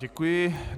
Děkuji.